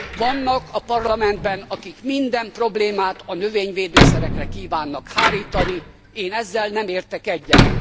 Vannak a Parlamentben, akik minden problémát a növényvédőszerekre kívánnak hárítani, én ezzel nem értek egyet.